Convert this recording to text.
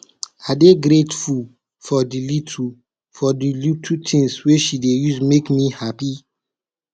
i dey grateful for di little for di little tins wey she dey use make me happy